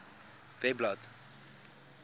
webblad